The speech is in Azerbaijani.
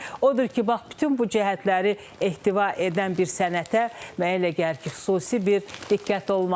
Odur ki, bax, bütün bu cəhətləri ehtiva edən bir sənətə mənə elə gəlir ki, xüsusi bir diqqət olmalıdır.